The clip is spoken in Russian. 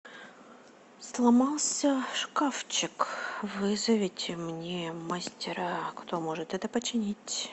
сломался шкафчик вызовите мне мастера кто может это починить